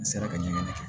N sera ka ɲininkali kɛ